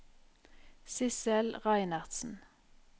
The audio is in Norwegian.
Sidsel Reinertsen